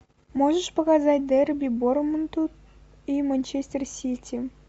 можешь показать дерби борнмут и манчестер сити